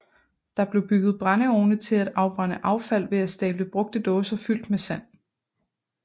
Der blev bygget brændeovne til at afbrænde affald ved at stable brugte dåser fyldt med sand